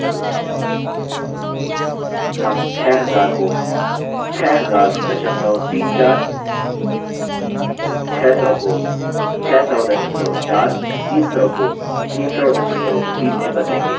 हम 6000 को 6004 6000 को 6004 300 को 3003 में बदलेंगे